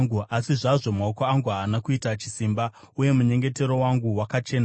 asi zvazvo maoko angu haana kuita chisimba, uye munyengetero wangu wakachena.